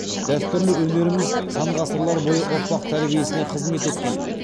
дәстүрлі өнеріміз сан ғасырлар бойы ұрпақ тәрбиесіне қызмет еткен